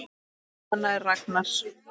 En svona var Ragnar.